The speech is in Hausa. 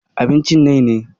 Abincin nai ne.